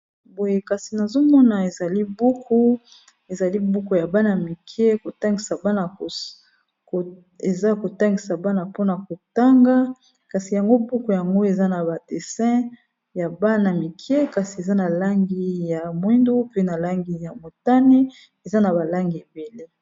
Boye kasi nazomona ezali buku ezali buku ya bana mike, eza kotangisa bana pona kotanga kasi yango buku yango eza na ba dessin ya bana mike kasi eza na langi ya mwindu, pe na langi ya motani eza na ba langi ebele.